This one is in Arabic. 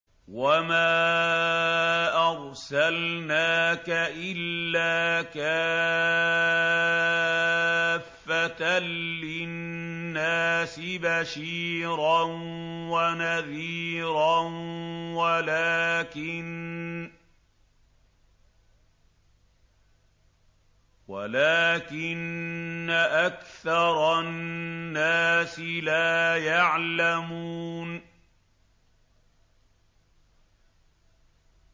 وَمَا أَرْسَلْنَاكَ إِلَّا كَافَّةً لِّلنَّاسِ بَشِيرًا وَنَذِيرًا وَلَٰكِنَّ أَكْثَرَ النَّاسِ لَا يَعْلَمُونَ